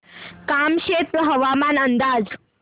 कामशेत हवामान अंदाज